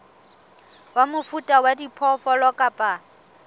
wa mofuta wa diphoofolo kapa